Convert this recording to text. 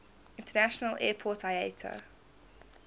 international airport iata